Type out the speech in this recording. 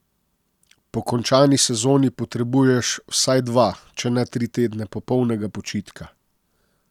Po končani sezoni potrebuješ vsaj dva, če ne tri tedne popolnega počitka.